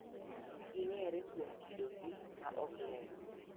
Ging�ere kuom kidogi ma ok ler.